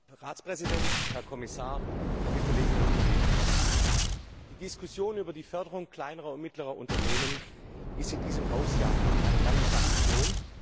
Herr Präsident, Herr Ratspräsident, Herr Kommissar, liebe Kolleginnen und Kollegen! Die Diskussion über die Förderung kleiner und mittlerer Unternehmen ist in diesem Haus ja eine lange Tradition.